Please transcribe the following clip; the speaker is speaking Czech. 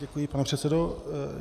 Děkuji, pane předsedo.